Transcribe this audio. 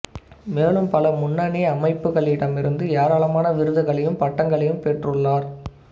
மேலும் பல முன்னணி அமைப்புகளிடமிருந்து ஏராளமான விருதுகளையும் பட்டங்களையும் பெற்றுள்ளார்